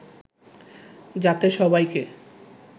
যাতে সবাইকে